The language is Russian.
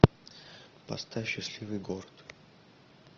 поставь счастливый город